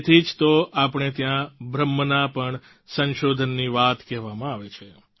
તેથી જ તો આપણે ત્યાં બ્રહ્મના પણ સંશોધનની વાત કહેવામાં આવે છે